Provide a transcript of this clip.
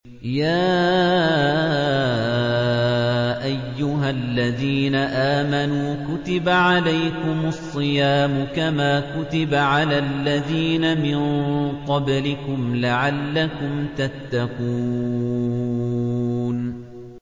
يَا أَيُّهَا الَّذِينَ آمَنُوا كُتِبَ عَلَيْكُمُ الصِّيَامُ كَمَا كُتِبَ عَلَى الَّذِينَ مِن قَبْلِكُمْ لَعَلَّكُمْ تَتَّقُونَ